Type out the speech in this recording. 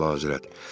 Xeyr, Əlahəzrət.